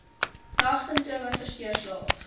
nagsimptome versteur slaap